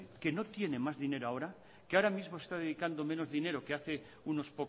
que no tiene más dinero ahora que ahora mismo está dedicando menos dinero que haces